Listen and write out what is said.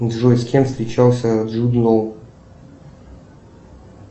джой с кем встречался джуд лоу